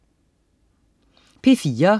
P4: